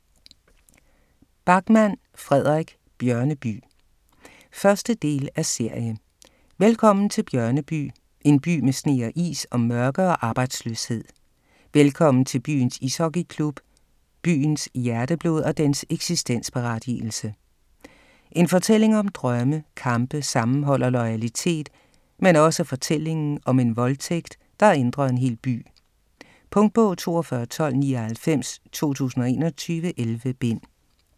Backman, Fredrik: Bjørneby 1. del af serie. Velkommen til Bjørneby; en by med sne og is og mørke og arbejdsløshed. Velkommen til byens ishockey-klub; byens hjerteblod og dens eksistensberettigelse. En fortælling om drømme, kampe, sammenhold og loyalitet, men også fortællingen om en voldtægt, der ændrer en hel by. Punktbog 421299 2021. 11 bind.